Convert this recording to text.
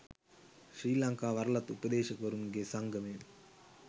ශ්‍රී ලංකා වරලත් උපදේශකවරුන්ගේ සංගමය.